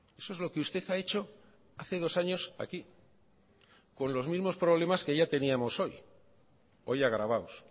eso es lo que usted ha hecho hace dos años aquí con los mismos problemas que ya teníamos hoy hoy agravados